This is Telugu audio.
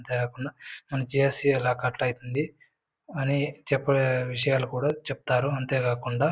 అంతే కాకుండ మన జి_స్_ఈ ఆలా కట్ అవుతుంది అని చెప్పేయ్ విష్యాలు కూడా చెప్తారు అంతే కాకుండా--